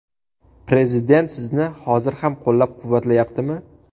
Prezident sizni hozir ham qo‘llab-quvvatlayaptimi?